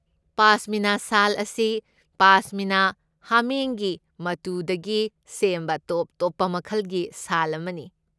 ꯄꯥꯁꯃꯤꯅꯥ ꯁꯥꯜ ꯑꯁꯤ ꯄꯥꯁꯃꯤꯅꯥ ꯍꯥꯃꯦꯡꯒꯤ ꯃꯇꯨꯗꯒꯤ ꯁꯦꯝꯕ ꯇꯣꯞ ꯇꯣꯞꯄ ꯃꯈꯜꯒꯤ ꯁꯥꯜ ꯑꯃꯅꯤ꯫